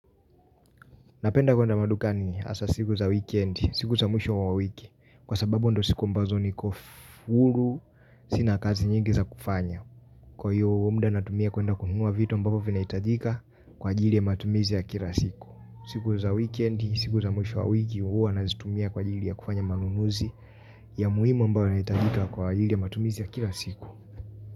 Napenda kwenda madukani hasa siku za wikendi, siku za mwisho wa wiki, kwa sababu ndo siku mbazo niko huru, sina kazi nyingi za kufanya. Kwa hiyo, muda natumia kwenda kununua vitu ambavyoo vinahitajika kwa ajili ya matumizi ya kila siku. Siku za wikendi, siku za mwisho wa wiki, huwa nazitumia kwa ajili ya kufanya manunuzi ya muhimu ambayo yanahitajika kwa ajili ya matumizi ya kila siku.